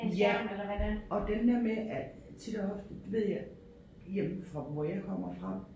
Ja og den der med at tit og ofte ved jeg hjemme fra hvor jeg komme fra